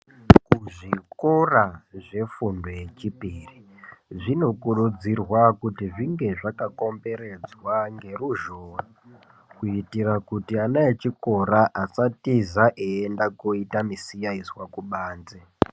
Zvikora zvefundo yechipiri vanokurudzirwa kuti zvinge zvakakomberedzwa ngeruzhowa kuitira kuti ana echikora asatiza eienda kooita misiyaizwa kubanze.